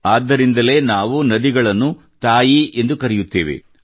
ಆದ್ದರಿಂದಲೇ ನಾವು ನದಿಗಳನ್ನು ತಾಯಿ ಎಂದು ಕರೆಯುತ್ತೇವೆ